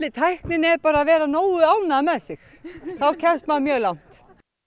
tæknin er bara að vera nógu ánægður með sig þá kemst maður mjög langt